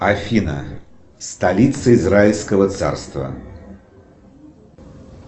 афина столица израильского царства